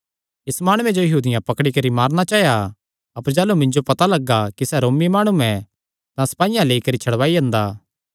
इस माणुये जो यहूदियां पकड़ी करी मारणा चाया अपर जाह़लू मिन्जो पता लगा कि सैह़ रोमी माणु ऐ तां सपाईयां लेई करी छड़वाई अंदा